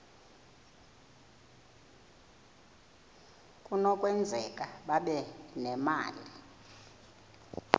kunokwenzeka babe nemali